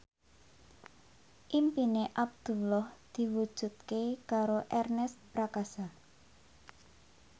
impine Abdullah diwujudke karo Ernest Prakasa